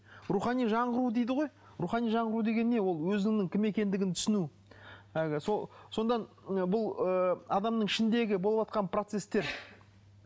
рухани жаңғыру дейді ғой рухани жаңғыру деген не ол өзіңнің кім екендігін түсіну әлгі сол содан бұл ыыы адамның ішіндегі болыватқан процесстер